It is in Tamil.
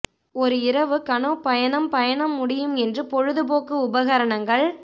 ஒரு இரவு கனோ பயணம் பயணம் முடியும் என்று பொழுதுபோக்கு உபகரணங்கள்